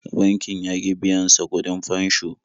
Bankin ya ƙi biyan sa kuɗin fansho.